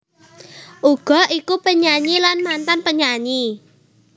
Uga iku penyanyi lan mantan penyanyi